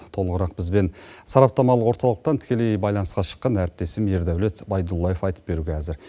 толығырақ бізбен сараптамалық орталықтан тікелей байланысқа шыққан әріптесім ердаулет байдуллаев айтып беруге әзір